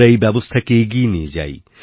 আমরা এইব্যবস্থাকে এগিয়ে নিয়ে যাই